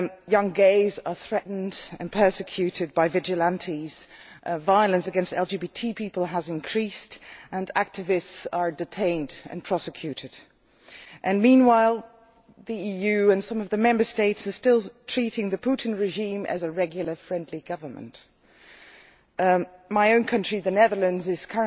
Young gays are threatened and persecuted by vigilantes, violence against LGBT people has increased and activists are detained and prosecuted. Meanwhile, the EU and some of the Member States are still treating the Putin regime as a regular, friendly government. My own country, the Netherlands, is